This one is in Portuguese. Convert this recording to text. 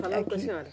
Falando com a senhora?